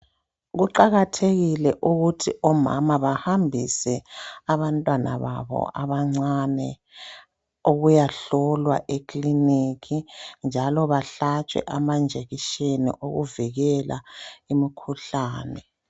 Kuqakathekile ukuthi omama bahambise abantwana babo abancane ukuyahlolwa ekilinika njalo bahlatshwe amajekiseni okuvikela imikhuhlane.